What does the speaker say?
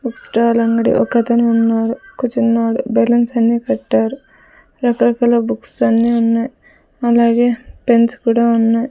Book stall అంగడి ఒకతను ఉన్నాడు కూర్చున్నాడు బెల్లున్స్ అన్ని పెట్టారు రకరకాల బుక్స్ అన్ని ఉన్నాయి అలాగే పెన్స్ కూడా ఉన్నాయి.